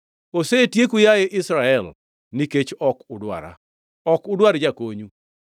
“Osetieku yaye Israel, nikech ok udwara, ok udwar jakonyu.